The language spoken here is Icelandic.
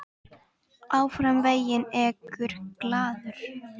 Áfram veginn ekur glaður.